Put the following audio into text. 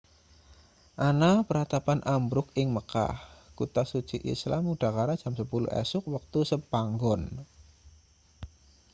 ana pratapan ambruk ing mekah kutha suci islam udakara jam 10 esuk wektu sepanggon